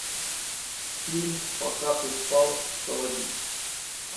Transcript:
фильм пока ты спал заводи